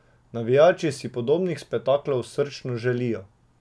Navijači si podobnih spektaklov srčno želijo.